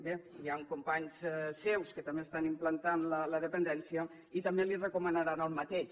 bé hi han companys seus que també estan implantant la dependència i que també li recomanaran el mateix